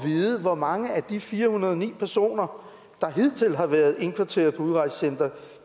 vide hvor mange af de fire hundrede og ni personer der hidtil har været indkvarteret på udrejsecenter